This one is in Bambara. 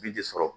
Bi de sɔrɔ